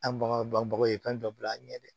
An baganw banbagaw kan dɔ bila an ɲɛ dɛ